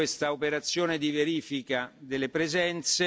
subito questa operazione di verifica delle presenze.